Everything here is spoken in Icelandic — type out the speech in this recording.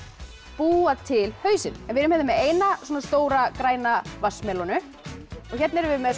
búa til hausinn við erum með eina stóra græna vatnsmelónu og hérna erum við með